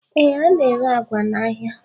Ee, a na-ere àgwà n'ahịa